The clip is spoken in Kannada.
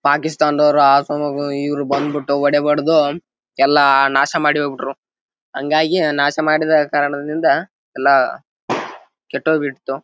ಪಾಕಿಸ್ತಾನದವರು ಇವರು ಬಂದ್ ಬಿಟ್ಟು ಓಡ್ ಹೊಡ್ದು ಎಲ್ಲ ನಾಶ ಮಾಡಿ ಹೋಗ್ಬಿಟ್ಟರು ಹಾಂಗಾಗಿ ನಾಶ ಮಾಡಿದ ಕಾರಣದಿಂದ ಎಲ್ಲ ಕೆಟ್ಟ್ ಹೋಗ್ಬಿಡಿತು.